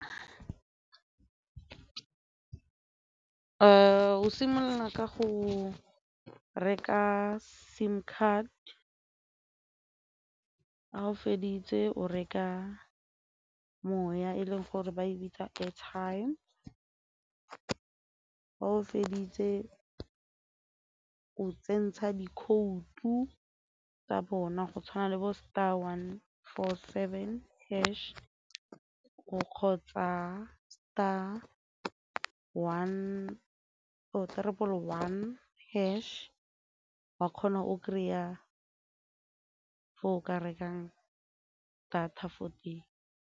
O simolola ka go reka sim card, ga o feditse o reka moya e leng gore ba e bitsa airtime, ga o feditse o tsentsha dikhoutu tsa bona go tshwana le bo star one four seven hash o kgotsa star one one hash wa kgona o kry-a ko o ka rekang thata fo teng.